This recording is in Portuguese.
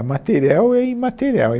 A material é imaterial.